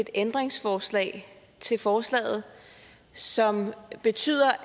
et ændringsforslag til forslaget som vil betyde